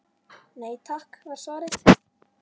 Nei takk var svarið.